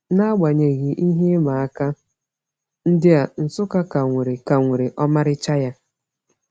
N’agbanyeghị ihe ịma aka ndị a, Nsukka ka nwere ka nwere ọmarịcha ya.